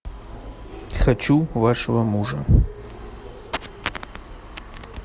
хочу вашего мужа